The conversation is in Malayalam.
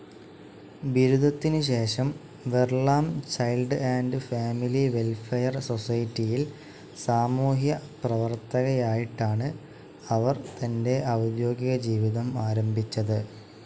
ബിരുദത്തിനുശേഷം വെറ്‌ലാം ചൈൽഡ്‌ ആൻഡ്‌ ഫാമിലി വെൽഫെയർ സൊസൈറ്റിയിൽ സാമൂഹ്യപ്രവർത്തകയായിട്ടാണ് അവർ തൻ്റെ ഔദ്യോഗിക ജീവിതം ആരംഭിച്ചത്.